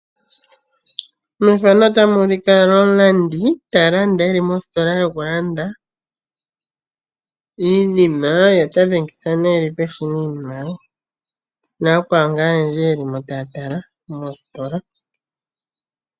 Omulandi ta landa e li mositola yokulanda iinima ye ota dhengitha peshina iinima ye , osho wo yakwawo yeli mositola taya tala iinima yawo.